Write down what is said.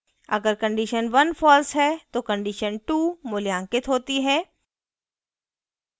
अगर condition 1 false है तो condition 2 मूल्यांकित होती है